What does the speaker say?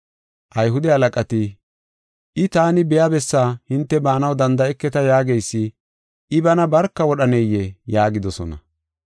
Ayhude halaqati, “I, ‘Taani biya bessaa hinte baanaw danda7eketa’ yaagees. I bana barka wodhaneyee?” yaagidosona.